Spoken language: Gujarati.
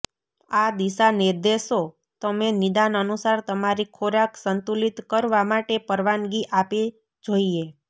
આ દિશાનિર્દેશો તમે નિદાન અનુસાર તમારી ખોરાક સંતુલિત કરવા માટે પરવાનગી આપે જોઇએ